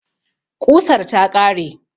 Ƙusar ta ƙare